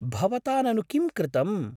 भवता ननु किं कृतम्?